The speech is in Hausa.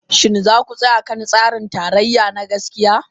Shin za ku tsaya kan tsarin tarayya na gaskiya?